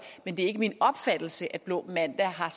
men det er ikke min opfattelse at blå mandag har